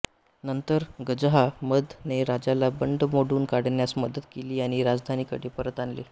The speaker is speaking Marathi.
नंतर गजहा मद ने राजाला बंड मोडून काढण्यास मदत केली आणि राजधानीकडे परत आणले